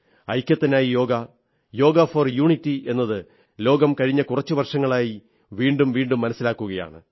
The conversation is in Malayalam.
ഐക്യത്തിനായി യോഗ യോഗ ഫോർ യൂണിറ്റി എന്നത് ലോകം കഴിഞ്ഞ കുറച്ചു വർഷങ്ങളായി വീണ്ടും വീണ്ടും മനസ്സിലാക്കുകയാണ്